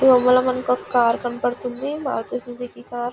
ఈ బొమ్మలో మనకి ఒక కారు కనబడుతుంది మారుతి సుజుకి కారు.